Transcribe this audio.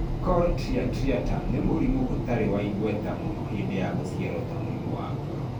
Cor triatriatum nĩ mũrimũ ũtarĩ wa igweta mũno(hĩndĩ ya gũciarwo) ta mũrimũ wa ngoro.